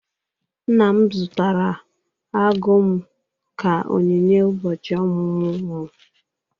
Nna m zụtara agụ m ka onyinye ụbọchị ọmụmụ m.